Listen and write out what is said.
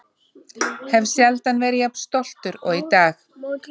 Hef sjaldan verið jafn stoltur og í dag!